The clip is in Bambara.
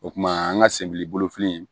O kumana an ka senbili bolofili